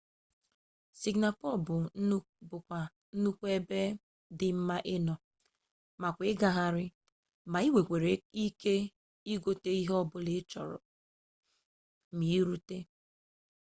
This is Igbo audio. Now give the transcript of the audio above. singapore bu kwanu ebe di mma ino makwa igaghari ma inwere ike igote ihe o bula i choro ma irute